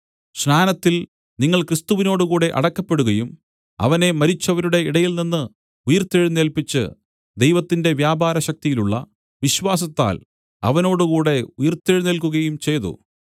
സ്നാനത്തിൽ നിങ്ങൾ ക്രിസ്തുവിനോടുകൂടെ അടക്കപ്പെടുകയും അവനെ മരിച്ചവരുടെ ഇടയിൽനിന്ന് ഉയിർത്തെഴുന്നേല്പിച്ച് ദൈവത്തിന്റെ വ്യാപാരശക്തിയിലുള്ള വിശ്വാസത്താൽ അവനോടുകൂടെ ഉയിർത്തെഴുന്നേല്ക്കുകയും ചെയ്തു